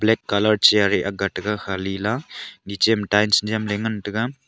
black colour chair e akga taiga Khali la niche ma tiles nyemley ngan taiga.